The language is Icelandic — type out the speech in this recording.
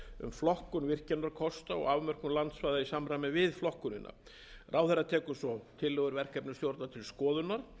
flokkun virkjunarkosta og afmörkun landsvæða í samræmi við flokkunina ráðherra tekur svo tillögur verkefnisstjórnar til skoðunar